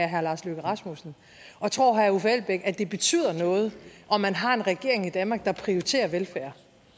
herre lars løkke rasmussen og tror herre uffe elbæk at det betyder noget om man har en regering i danmark der prioriterer velfærd